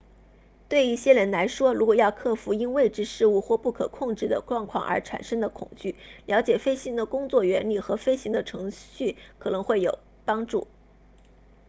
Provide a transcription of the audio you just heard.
对一些人来说如果要克服因未知事物或不可控制的状况而产生的恐惧了解飞机的工作原理和飞行的程序可能会有帮助